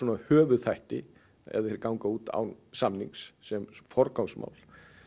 höfuðþætti ef þeir ganga út án samnings sem forgangsmál